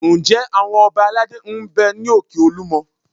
Ǹjẹ́ àwọn ọba aládé ń bẹ ní òkè Olúmọ?